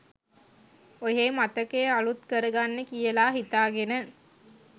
ඔහේ මතකය අලුත් කරගන්න කියලා හිතාගෙන